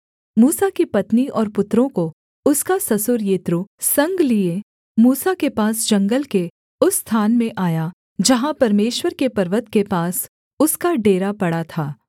मूसा की पत्नी और पुत्रों को उसका ससुर यित्रो संग लिए मूसा के पास जंगल के उस स्थान में आया जहाँ परमेश्वर के पर्वत के पास उसका डेरा पड़ा था